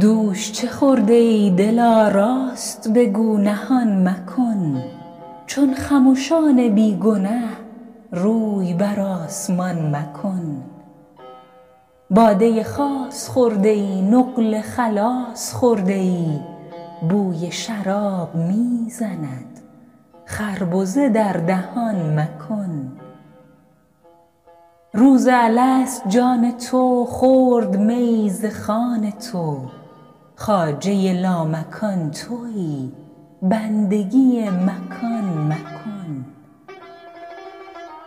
دوش چه خورده ای دلا راست بگو نهان مکن چون خمشان بی گنه روی بر آسمان مکن باده خاص خورده ای نقل خلاص خورده ای بوی شراب می زند خربزه در دهان مکن روز الست جان تو خورد میی ز خوان تو خواجه لامکان تویی بندگی مکان مکن